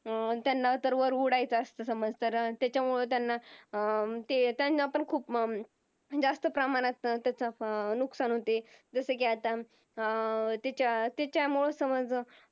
अं त्यांना तर वर उडायचा असत समज तर त्याच्यामुळे त्यांना अं ते त्यांना पण खूप हम्म जास्त प्रमाणात त्याच नुकसान होते जसा कि आता अं त्याच्यात त्याच्यामुळं समज